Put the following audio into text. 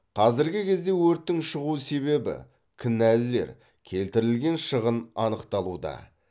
қазіргі кезде өрттің шығу себебі кінәлілер келтірілген шығын анықталуда